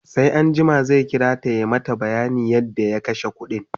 sai anjima zai kirata ya mata bayanin yadda ya kashe ƙuɗin